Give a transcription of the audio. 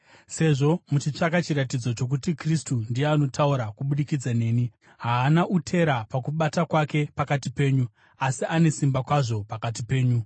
sezvo muchitsvaka chiratidzo chokuti Kristu ndiye anotaura kubudikidza neni. Haana utera pakubata kwake pakati penyu, asi ane simba kwazvo pakati penyu.